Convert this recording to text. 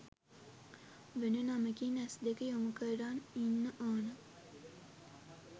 වෙන නමකින් ඇස් දෙක යොමු කරන් ඉන්න ඕන